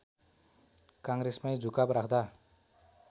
काङ्ग्रेसमै झुकाव राख्दा